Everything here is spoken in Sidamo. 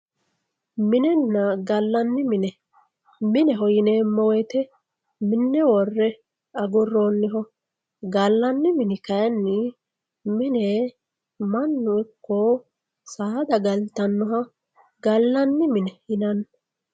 Minenna galanni mine, mineho yineemo woyite mi'ne worre aguroniho, galanni mini kayini mine manu iko saada galitanoha galani mine yinanni